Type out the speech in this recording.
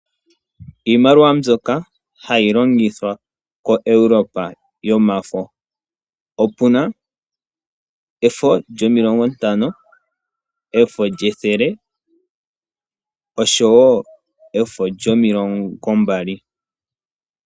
Iimaliwa mbyoka hayi longithwa koEuropa yomafo; opuna efo lyomilongo ntano, efo lyethele oshowo efo lyomilongo mbali.